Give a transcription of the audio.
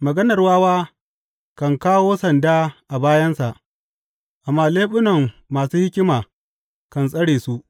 Maganar wawa kan kawo sanda a bayansa, amma leɓunan masu hikima kan tsare su.